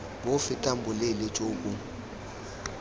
bo fetang boleele jo bo